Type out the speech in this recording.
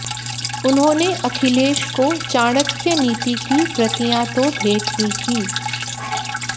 उन्होंने अखिलेश को चाणक्य नीति की प्रतियां तो भेंट ही की